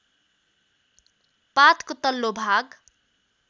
पातको तल्लो भाग